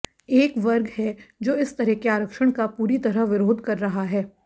एक वर्ग है जो इस तरह के आरक्षण का पूरी तरह विरोध कर रहा है